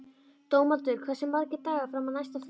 Dómaldur, hversu margir dagar fram að næsta fríi?